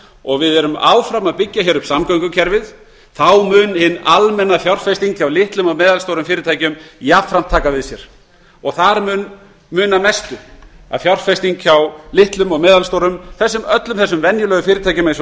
og við erum áfram að byggju hér upp samgöngukerfið þá mun hin almenna fjárfesting hjá litlum og meðalstórum fyrirtækjum jafnframt taka við sér þar munar mestu að þegar fjárfesting hjá litlum og meðalstórum fyrirtækjum öllum þessum venjulegu fyrirtækjum eins